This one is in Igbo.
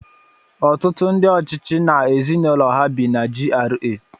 Ọtụtụ ndị ọchịchị na ezinụlọ ha bi na GRA.